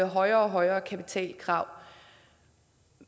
højere og højere kapitalkrav